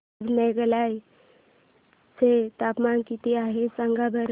आज मेघालय चे तापमान किती आहे सांगा बरं